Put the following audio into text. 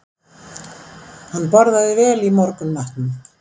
Hann borðaði vel í morgunmatnum